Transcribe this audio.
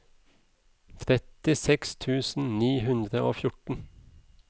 trettiseks tusen ni hundre og fjorten